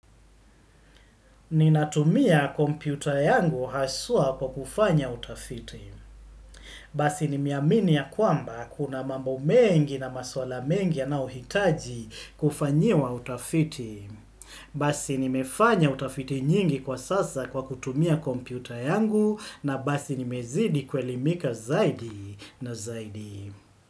Ninatumia kompyuta yangu haswa kwa kufanya utafiti. Basi nimeamini ya kwamba kuna mambo mengi na maswala mengi yanayohitaji kufanyiwa utafiti. Basi nimefanya utafiti nyingi kwa sasa kwa kutumia kompyuta yangu na basi nimezidi kuelimika zaidi na zaidi.